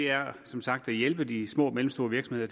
er som sagt at hjælpe de små og mellemstore virksomheder